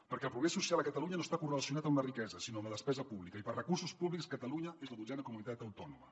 perquè el progrés social a catalunya no està correlacionat amb la riquesa sinó amb la despesa pública i per recursos públics catalunya és la dotzena comunitat autònoma